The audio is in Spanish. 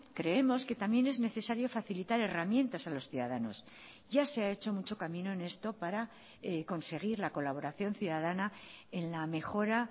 creemos que también es necesario facilitar herramientas a los ciudadanos ya se ha hecho mucho camino en esto para conseguir la colaboración ciudadana en la mejora